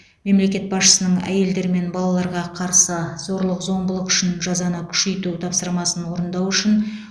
мемлекет басшысының әйелдер мен балаларға қарсы зорлық зомбылық үшін жазаны күшейту тапсырмасын орындау үшін